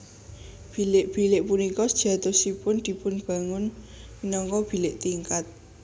Bilik bilik punika sejatosipun dipun bangun minangka bilik tingkat